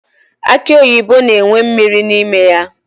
Akị oyibo na-enwe mmiri n'ime ya.